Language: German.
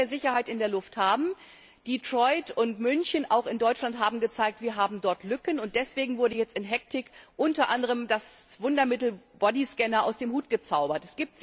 Wir wollen mehr Sicherheit in der Luft haben. Detroit und München, auch in Deutschland hat sich gezeigt, dass wir dort Lücken haben, und deswegen wurde jetzt in Hektik unter anderem das Wundermittel Bodyscanner aus dem Hut gezaubert.